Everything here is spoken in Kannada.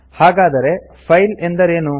ಹಾಗಾದರೆ ಫೈಲ್ ಅಂದರೆ ಏನು